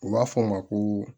U b'a fɔ o ma ko